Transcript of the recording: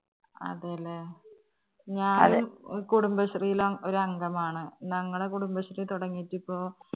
അതെ ല്ലേ കുടുംബശ്രീല് ഒരു അംഗമാണ് ഞങ്ങളെ കുടുംബശ്രീതൊടങ്ങിയിട്ടിപ്പോ